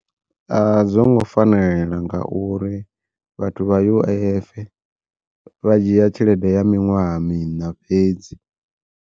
A zwongo fanela ngauri vhathu vha U_I_F vha dzhia tshelede ya miṅwaha miṋa fhedzi.